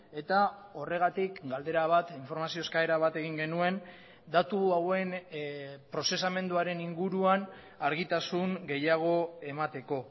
eta horregatik galdera bat informazio eskaera bat egin genuen datu hauen prozesamenduaren inguruan argitasun gehiago emateko